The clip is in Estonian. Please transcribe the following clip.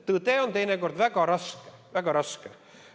Tõde on teinekord väga raske, väga raske.